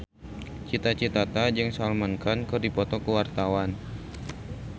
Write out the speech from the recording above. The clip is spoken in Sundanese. Cita Citata jeung Salman Khan keur dipoto ku wartawan